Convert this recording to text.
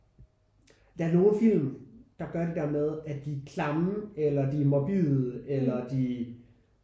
Der er nogen film der gør det der med at de er klamme eller de er morbide eller de